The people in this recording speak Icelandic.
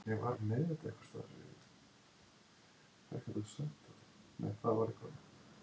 Hann finnst þó einnig í nokkrum stórfljótum Rússlands, svo sem Volgu.